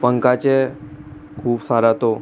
पंखा छे खूब सारा तो।